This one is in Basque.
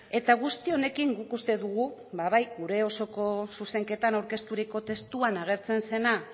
eta guzti honekin guk uste dugu ba bai gure osoko zuzenketan aurkezturiko testuan agertzen zena